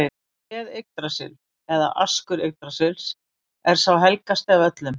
Tréð Yggdrasill eða askur Yggdrasils er sá helgasti af öllum.